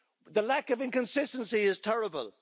The lack of inconsistency is terrible.